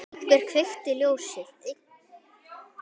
Einhver kveikti ljósin.